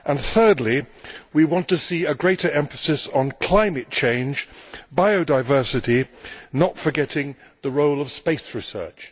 Thirdly, we want to see a greater emphasis on climate change and biodiversity, not forgetting the role of space research.